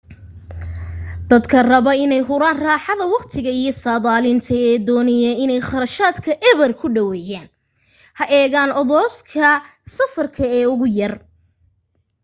dadka raba inay huraan raaxada waqtiga iyo saadaalinta ee doonaya inay kharashaadka eber ku dhaweeyaan ha eegaan odoroska safar ee ugu yar